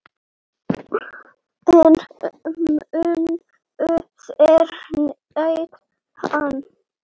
En munu þeir nýta hann?